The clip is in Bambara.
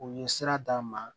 U ye sira d'an ma